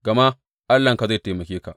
Gama Allahnka zai taimake ka.